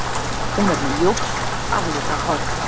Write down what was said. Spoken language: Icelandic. Hún er með ljóst aflitað hár